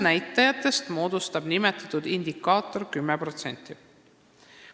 Nimetatud indikaator moodustab tulemusnäitajatest 10%.